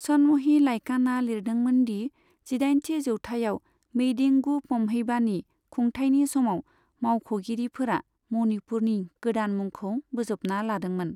सनमहि लाइकानआ लिरदोंमोन दि जिदाइनथि जौथायाव मेइडिंगु पम्हेइबानि खुंथायनि समाव मावख'गिरिफोरा मणिपुरनि गोदान मुंखौ बोजबना लादोंमोन।